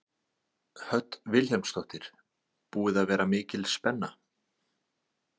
Hödd Vilhjálmsdóttir: Búið að vera mikil spenna?